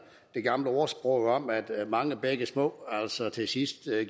det gamle ordsprog om at mange bække små til sidst